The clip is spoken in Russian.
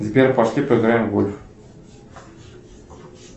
сбер пошли поиграем в гольф